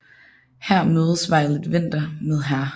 Her mødes Violet Vinter med Hr